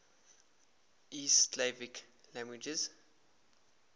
east slavic languages